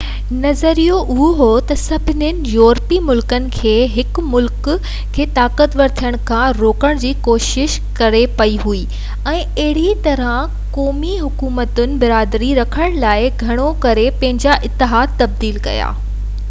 نظريو اهو هو تہ سڀني يورپي ملڪن کي هڪ ملڪ کي طاقتور ٿيڻ کان روڪڻ جي ڪوشش ڪرڻي پئي هئي ۽ اهڙي طرح قومي حڪومتن برابري رکڻ لاءِ گهڻو ڪري پنهنجا اتحاد تبديل ڪيا